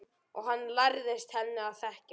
Og hann lærðist henni að þekkja.